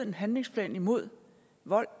en handlingsplan imod vold